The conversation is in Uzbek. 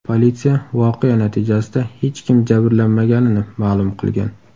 Politsiya voqea natijasida hech kim jabrlanmaganini ma’lum qilgan.